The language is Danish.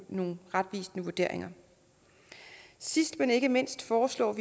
nogle retvisende vurderinger sidst men ikke mindst foreslås